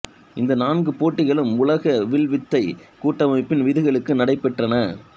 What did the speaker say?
இந்த நான்கு போட்டிகளும் உலக வில்வித்தை கூட்டமைப்பின் விதிகளுக்கு நடைபெற்றன